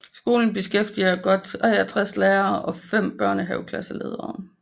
Skolen beskæftiger godt 63 lærere og 5 børnehaveklasseledere